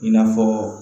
I n'a fɔ